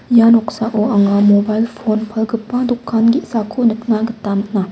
ia noksao anga mobile pon palgipa dokan ge·sako nikna gita man·a.